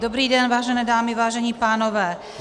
Dobrý den, vážené dámy, vážení pánové -